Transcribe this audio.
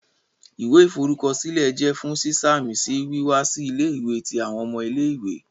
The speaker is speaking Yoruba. Iwẹ iforukọsilẹ jẹ fun siṣamisi wiwa si ile-iwe ti awọn ọmọ ile-iwe.